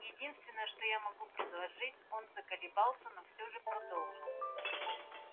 единственное что я могу предложить он заколебался но всё же продолжил